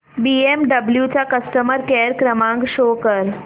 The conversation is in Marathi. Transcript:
बीएमडब्ल्यु चा कस्टमर केअर क्रमांक शो कर